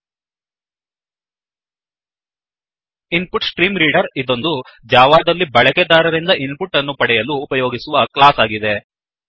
InputStreamReaderಇನ್ಪುನ್ಟ್ಸ್ಟ್ರೀ ಮ್ರೀೈಡರ್ ಇದೊಂದು ಜಾವಾದಲ್ಲಿ ಬಳೆಕೆದಾರರಿಂದ ಇನ್ ಪುಟ್ ಅನ್ನು ಪಡೆಯಲು ಉಪಯೋಗಿಸುವ ಕ್ಲಾಸ್ ಆಗಿದೆ